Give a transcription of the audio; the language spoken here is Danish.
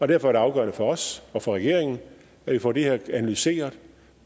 det afgørende for os for regeringen at vi får det her analyseret